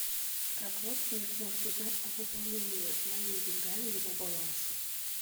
как родственник может узнать о пополнении моими деньгами его баланса